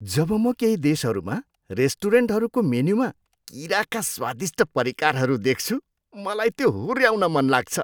जब म केही देशहरूमा रेस्टुरेन्टहरूको मेनुमा किराका स्वादिष्ट परिकारहरू देख्छु, मलाई त्यो हुऱ्याउन मन लाग्छ।